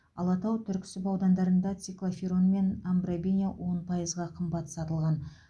алатау түрксіб аудандарында циклоферон мен амбробене он пайызға қымбат сатылған